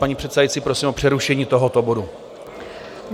Paní předsedající, prosím o přerušení tohoto bodu.